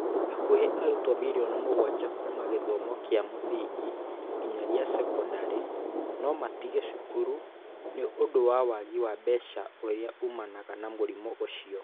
Hakuhĩ arutwo mirioni mũgwanja kuuma gĩthomo kĩa mũthingi nginya gĩa sekondarĩ no matige cukuru nĩ ũndũ wa wagi wa mbeca ũria umanaga na mũrimũ ũcio.